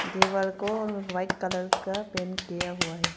दीवार को white colour का पेंट किया हुआ है।